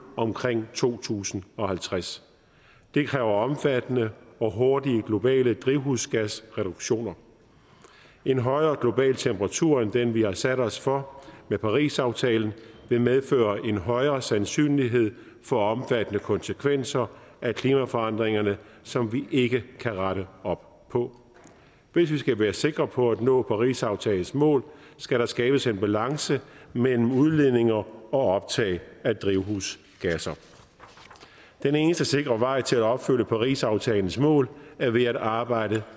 omkring to tusind og halvtreds det kræver omfattende og hurtige globale drivhusgasreduktioner en højere global temperatur end den vi har sat os for med parisaftalen vil medføre en højere sandsynlighed for omfattende konsekvenser af klimaforandringerne som vi ikke kan rette op på hvis vi skal være sikre på at nå parisaftalens mål skal der skabes en balance mellem udledning og optag af drivhusgasser den eneste sikre vej til at opfylde parisaftalens mål er ved at arbejde